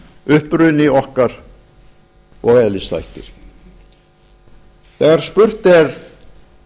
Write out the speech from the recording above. uppruni okkar og eðlisþættir þegar spurt er